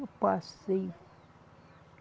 Eu passei.